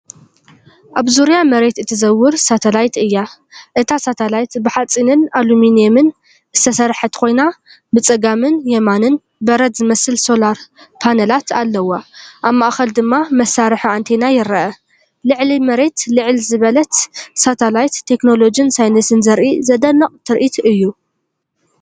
ኣብ ዙርያ መሬት እትዘውር ሳተላይት እያ። እታ ሳተላይት ብሓጺንን ኣሉሚንየምን ዝተሰርሐት ኮይና፡ ብጸጋምን የማንን በረድ ዝመስል ሶላር ፓነላት ኣለዋ። ኣብ ማእከል ድማ መሳርሒ ኣንቴና ይርአ። ልዕሊ መሬት ልዕል ዝበለት ሳተላይት፡ቴክኖሎጅን ሳይንስን ዘርኢ ዘደንቕ ትርኢት እዩ።